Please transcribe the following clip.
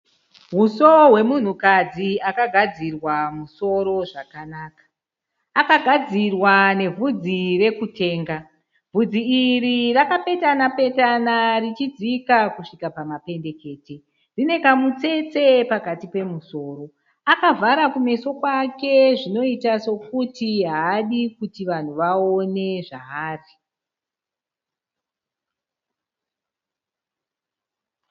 Huso hwemunhukadzi akagadzirwa musoro zvakanaka. Akagadzirwa nevhudzi rekutenga. Vhudzi iri rakapetana petana richidzika kusvika pamapendekete. Rine kamutsetse pakati pemusoro. Akavhara kumeso kwake zvinoita sekuti haadi kuti vanhu vaone zvaari.